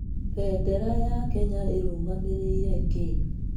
Bendera ya Kenya ĩrũgamĩrĩire kĩĩ?